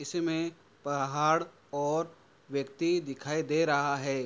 इसमें पहाड़ और व्यक्ति दिखाई दे रहा है।